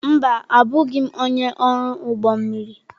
Mba, abụghị m onye ọrụ ụgbọ mmiri.